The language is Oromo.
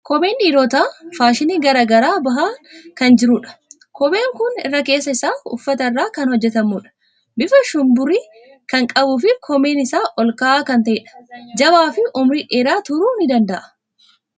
Kopheen dhiirotaa faashinii garaa garaan bahaa kan jirudha. Kopheen kun irri keessa isaa uffata irraa kan hojjetamudha. Bifa shumburii kan qabuu fi koomeen isaa ol ka'aa kan ta'edha. Jabaa fi umurii dheeraa turuu ni danda'a.